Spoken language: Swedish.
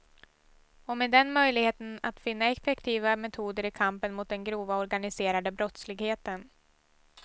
Och med den möjligheten att finna effektiva metoder i kampen mot den grova organiserade brottsligheten.